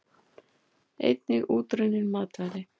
Einnig útrunnin matvæli.